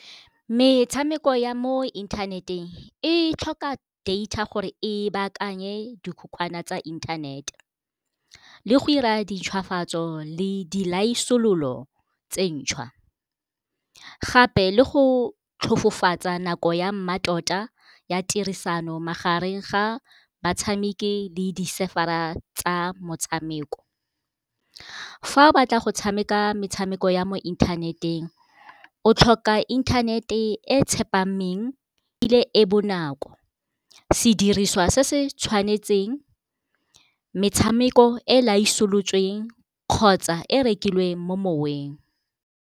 metshameko ya mo inthaneteng e tlhoka data gore e baakanye dikhukhwane tsa inthanete le go ira di ntshwafatso le di laisolola go tse ntšhwa gape le go tlhofofotswe nako ya mmatota ya tirisano magareng ga batshameki le di-server a tsa motshameko fa o batla go tshameka metshameko ya mo inthaneteng fa o tlhoka internet e tsepameng ile e bonako sediriswa se se tshwanetseng metshameko e la iss solofetsweng kgotsa e rekilweng mo moweng